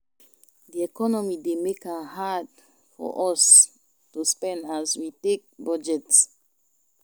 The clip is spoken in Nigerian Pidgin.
Di economy dey make am hard for us to spend as we take budget.